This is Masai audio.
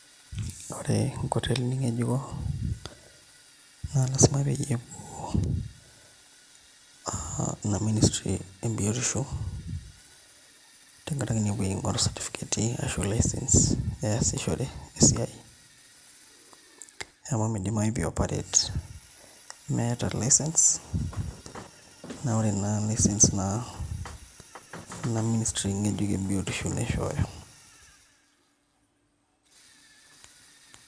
Ore enkotelini ng'ejuko naa lasima peyie epuo aa ina ministry ebiotisho tenkaraki naa epoito aing'oru certificateti ashu license easishore esiai amu midimayu pee ioperate meeta license naa ore naa license naa ina ministry ng'ejuk ebiotiosho naishooyo.